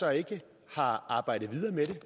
så ikke har arbejdet videre med det